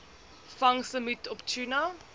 vangslimiet op tuna